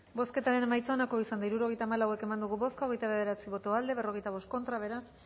bozketaren emaitza onako izan da hirurogeita hamalau eman dugu bozka hogeita bederatzi boto aldekoa cuarenta y cinco contra beraz